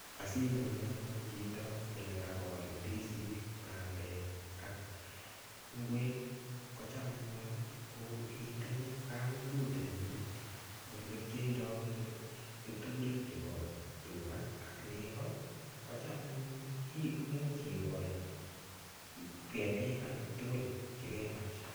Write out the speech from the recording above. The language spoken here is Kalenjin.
Asinyoru anyun chito olekakol ndisik bandek ak ngwek kocham anyun itinye kapungut nemining ole keirong'chi keturek chebo tuga ak nego ko cham anyun much ikol ketik alak tugul chekemach.